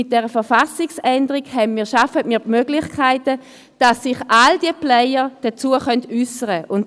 Mit dieser Verfassungsänderung schaffen wir die Möglichkeit, dass sich alle Akteure dazu äussern können.